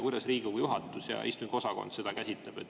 Kuidas Riigikogu juhatus ja istungiosakond seda käsitlevad?